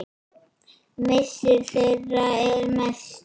Missir þeirra er mestur.